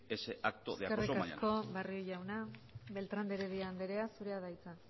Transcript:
ese acto de acoso mañana eskerrik asko barrio jauna beltrán de heredia andrea zurea da hitza